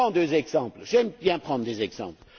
Je prends deux exemples, car j'aime prendre des exemples.